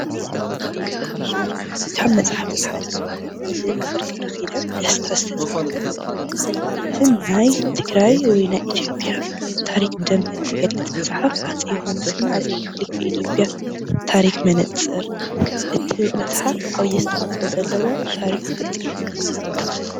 ካብ መፅሓፍቲ ሓደ ዝኮነ ብመምህር ገ/ኪዳን ድስታ ዝተፃሓፈት ኣደናቂትን ናይ ትግራይ ወይ ናይ ኢ/ያ ታሪክ እትገልፅ መፅሓፍ ሃፀይ ዮውሃንስ እና ሃፀይ ምኒልክ ኢ/ያ ታሪክ መነፅር እትብል መፅሓፍ ዓብዩ ኣስተዋፅኦ ዘለዎ ታሪክ ትገልፀልና እያ።